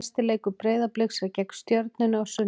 Næsti leikur Breiðabliks er gegn Stjörnunni á sunnudag.